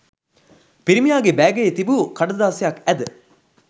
පිරිමියාගේ බෑගයේ තිබු කඩදාසියක් ඇද